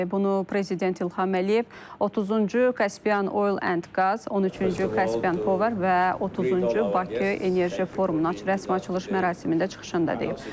Bunu Prezident İlham Əliyev 30-cu Kaspian Oil and Qaz, 13-cü Kaspian Power və 30-cu Bakı Enerji Forumunun açılış mərasimində çıxışında deyib.